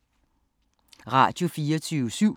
Radio24syv